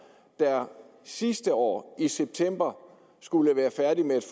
der sidste år i september skulle være færdig med et